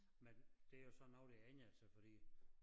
Men det jo så noget der har ændret sig fordi